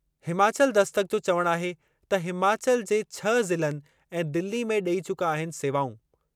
हिमाचल दस्तक जो चवणु आहे त हिमाचल जे छह ज़िलनि ऐं दिल्ली में डे॒ई चुका आहिनि सेवाऊं।